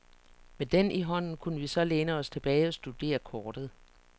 Med den i hånden kunne vi så læne os tilbage og studere kortet.